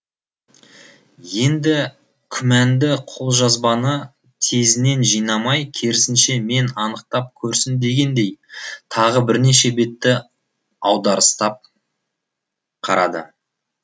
енді күмәнді қолжазбаны тезінен жинамай керісінше мен анықтап көрсін дегендей тағы бірнеше бетті аударыстап қарады